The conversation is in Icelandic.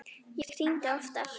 Ég hringdi oftar.